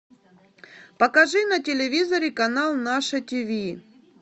покажи на телевизоре канал наше тиви